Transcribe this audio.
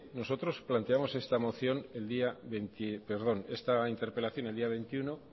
nosotros planteamos esta interpelación el día veintiuno